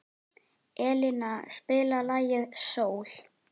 Elina, spilaðu lagið „Sól“.